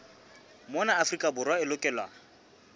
mona afrika borwa e lokelwa